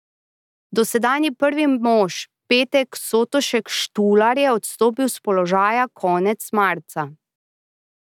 Dosedanji prvi mož Peter Sotošek Štular je odstopil s položaja konec marca.